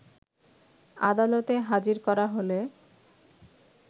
আদালতে হাজির করা হলে